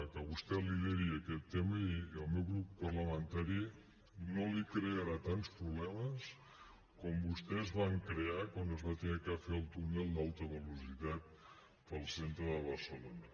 que vostè lideri aquest tema i el meu grup parlamentari no li crearà tants problemes com vostès van crear quan es va haver de fer el túnel d’alta velocitat pel centre de barcelona